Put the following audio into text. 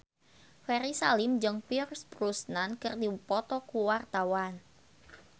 Ferry Salim jeung Pierce Brosnan keur dipoto ku wartawan